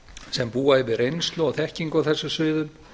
sem búa yfir reynslu og þekkingu á þessum sviðum